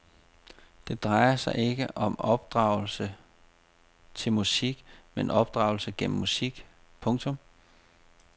Det drejer sig ikke om opdragelse til musik men opdragelse gennem musik. punktum